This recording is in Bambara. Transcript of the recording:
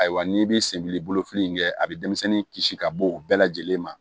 Ayiwa n'i bɛ senbilifili in kɛ a bɛ denmisɛnnin kisi ka bɔ o bɛɛ lajɛlen ma